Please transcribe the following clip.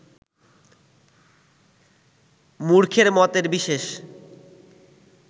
মূর্খের মতের বিশেষ